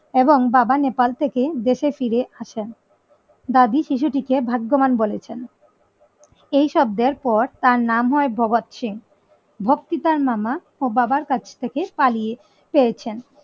এবং বাবা নেপাল থেকে দেশে ফিরে আসেন দাদি শিশুটিকে ভাগ্যবান বলেছেন এই শব্দের পর তার নাম হয় ভগৎ সিং ভক্তি তার মামা ও বাবার কাছ থেকে পালিয়ে পেয়েছেন